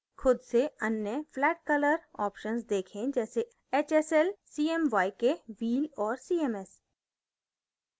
खुद से अन्य flat color options देखें जैसे hsl cmyk wheel और cms